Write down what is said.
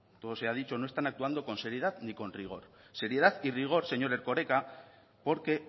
todo sea dicho no están actuando con seriedad ni con rigor seriedad y rigor señor erkoreka porque